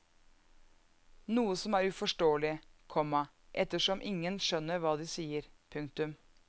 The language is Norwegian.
Noe som er uforståelig, komma ettersom ingen skjønner hva de sier. punktum